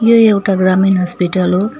यो एउटा ग्रामीण हस्पिटल हो।